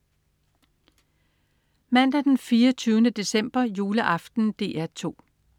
Mandag den 24. december. Juleaften - DR 2: